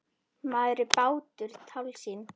Maður og bátur- tálsýn?